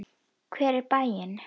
Hver er bæinn?